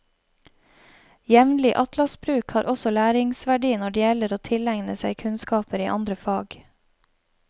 Jevnlig atlasbruk har også læringssverdi når det gjelder å tilegne seg kunnskaper i andre fag.